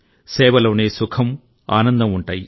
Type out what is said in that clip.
సేవలోనే సుఖం ఆనందం ఉంటాయి